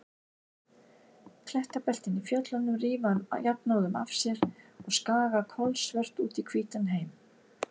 Klettabeltin í fjöllunum rífa hann jafnóðum af sér og skaga kolsvört út í hvítan heim.